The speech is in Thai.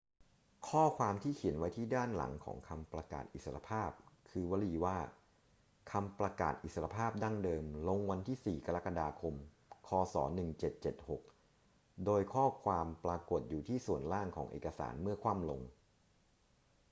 ข้อความที่เขียนไว้ที่ด้านหลังของคำประกาศอิสรภาพคือวลีว่า คำประกาศอิสรภาพดั้งเดิม ลงวันที่ 4 กรกฎาคม ค. ศ. 1776 โดยข้อความปรากฏอยู่ที่ส่วนล่างของเอกสารเมื่อคว่ำลง